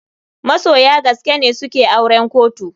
Masoya gaskene suke auren kotu.